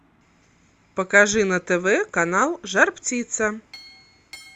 покажи на тв канал жар птица